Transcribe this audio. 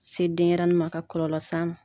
Se denyɛrɛnin ma ka kɔlɔlɔ s'a ma